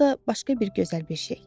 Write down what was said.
ya da başqa bir gözəl bir şey.